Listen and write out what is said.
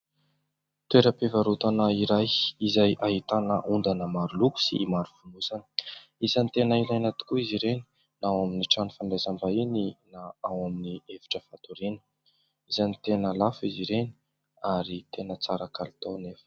Toeram-pivarotana iray izay ahitana ondana maro loko sy maro fonosana, isany tena ilaina tokoa izy ireny na ao amin'ny trano fandraisam-bahiny na ao amin'ny efitra fatoriana, isany tena lafo izy ireny ary tena tsara kalitao anefa.